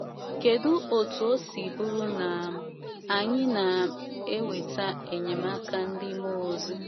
kedu etú o si bụrụ na um anyị na um - um enweta enyemaka ndị mmụọ ozi?